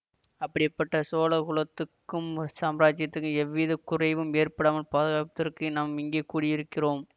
அப்படிப்பட்ட சோழ குலத்துக்கும் சாம்ராஜ்யத்துக்கும் எவ்வித குறைவும் ஏற்படாமல் பாதுகாப்பதற்கே நாம் இங்கே கூடியிருக்கிறோம்